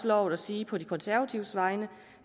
lovet at sige på de konservatives vegne